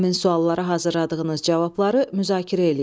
Həmin suallara hazırladığınız cavabları müzakirə eləyin.